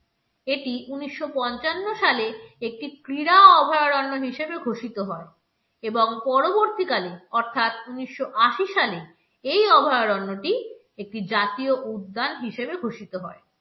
এটি উনিশশো-পঞ্চান্ন সালে একটি ক্রীড়া অভয়ারণ্য হিসেবে ঘোষিত হয় এবং পরবর্তীকালে অর্থাৎ উনিশশো আশি সালে এই অভয়ারণ্যটি একটি জাতীয় উদ্যান হিসেবে ঘোষিত হয়।